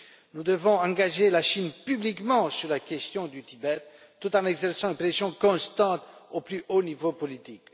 Nous devons engager la Chine publiquement sur la question du Tibet, tout en exerçant une pression constante au plus haut niveau politique.